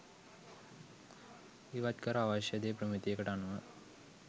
ඉවත් කර අවශ්‍ය දේ ප්‍රමිතියකට අනුව